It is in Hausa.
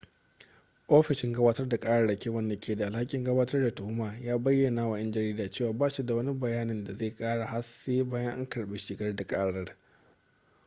ofishin gabatar da ƙararraki wanda ke da alhakin gabatar da tuhuma ya bayyana wa 'yan jarida cewa ba shi da wani bayani da zai kara har sai bayan an karbi shigar da karar